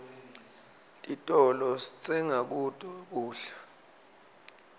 titolo sitsenga kuto kudla